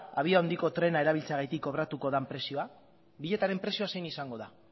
abiadura handiko trena erabiltzeagatik kobratuko den prezioa biletearen prezioa zein izango da